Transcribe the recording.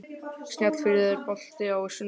Snjáfríður, er bolti á sunnudaginn?